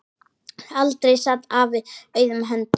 Aldrei sat afi auðum höndum.